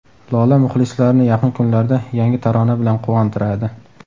Lola muxlislarini yaqin kunlarda yangi tarona bilan quvontiradi.